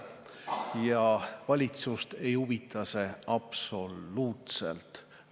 Ja valitsust ei huvita see absoluutselt.